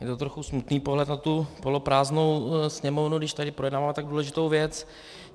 Je to trochu smutný pohled na tu poloprázdnou sněmovnu, když tady projednáváme tak důležitou věc.